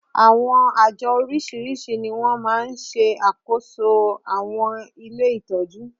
Àwọn àjọ oríṣiríṣi ni wọ́n máa ń ṣe àkóso àwọn ilé ìtọ́jú